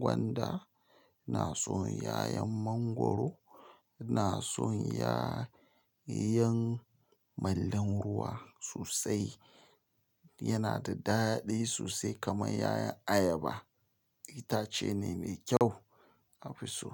gwanda ina san yayan mangura sosai yana da daɗi sosai kamar 'ya'yan ayaba. Itace ne mai kyau a fi so.